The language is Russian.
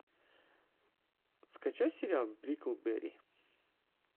скачай сериал бриклберри